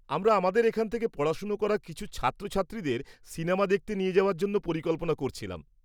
আমরা আমাদের এখানে থেকে পড়াশোনা করা কিছু ছাত্রছাত্রীদের সিনেমা দেখতে নিয়ে যাওয়ার জন্য পরিকল্পনা করছিলাম।